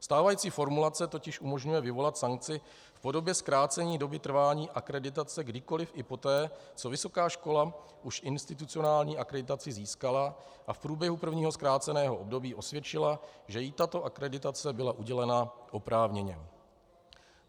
Stávající formulace totiž umožňuje vyvolat sankci v podobě zkrácení doby trvání akreditace kdykoliv i poté, co vysoká škola už institucionální akreditaci získala, a v průběhu prvního zkráceného období osvědčila, že jí tato akreditace byla udělena oprávněně.